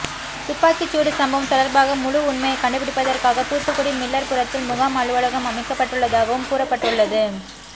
துப்பாக்கிச்சூடு சம்பவம் தொடர்பாக முழு உண்மையை கண்டுபிடிப்பதற்காக தூத்துக்குடி மில்லர்புரத்தில் முகாம் அலுவலகம் அமைக்கப்பட்டுள்ளதாகவும் கூறப்பட்டுள்ளது